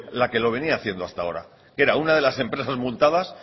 la que lo venía haciendo hasta ahora que era una de las empresas multadas